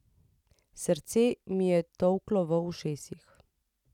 Srce mi je tolklo v ušesih.